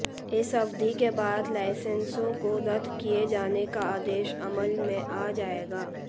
इस अवधि के बाद लाइसेंसों को रद्द किए जाने का आदेश अमल में आ जाएगा